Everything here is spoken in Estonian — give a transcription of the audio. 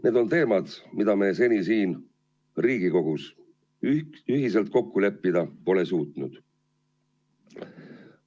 Need on teemad, mida me seni siin Riigikogus ühiselt kokku leppida pole suutnud.